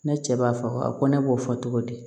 Ne cɛ b'a fɔ ko ne b'o fɔ cogo di